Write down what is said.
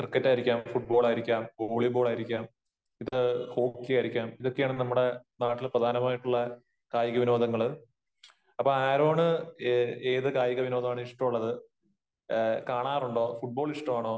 Cricket ആയിരിക്കാം, football ആയിരിക്കാം, volleyball ആയിരിക്കാം, ഹോക്കി ആയിരിക്കാം. ഇതൊക്കെയാണ് നമ്മുടെ നാട്ടില് പ്രധാനമായിട്ടുള്ള കായിക വിനോദങ്ങള്. അപ്പോ ആരോണ് ഏത് കായിക വിനോദമാണ് ഇഷ്ടമുള്ളത്? കാണാറുണ്ടോ? ഫുട്ബോൾ ഇഷ്ടമാണോ?